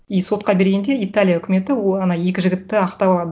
и сотқа бергенде италия үкіметі ол ана екі жігітті ақтап алады